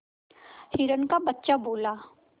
हिरण का बच्चा बोला